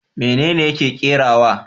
Menene yake kerawa?